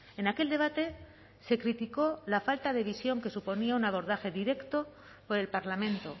en aquel debate se criticó la falta de visión que suponía un abordaje directo por el parlamento